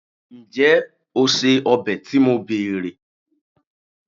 njé o se obe to mo bere